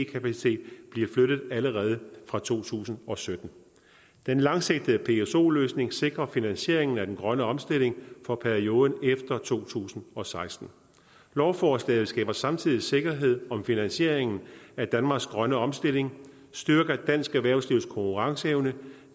kapacitet blive flyttet allerede fra to tusind og sytten den langsigtede pso løsning sikrer finansieringen af den grønne omstilling for perioden efter to tusind og seksten lovforslaget skaber samtidig sikkerhed om finansieringen af danmarks grønne omstilling styrker dansk erhvervslivs konkurrenceevne